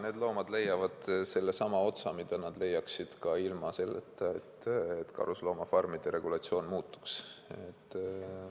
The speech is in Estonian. Need loomad leiavad samasuguse otsa, nagu nad leiaksid ka ilma selleta, et karusloomafarmide regulatsioon muutuks.